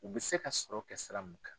U bɛ se ka sɔrɔ kɛ sira mun kan.